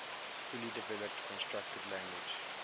fully developed constructed language